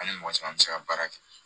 Hali mɔgɔ caman bɛ se ka baara kɛ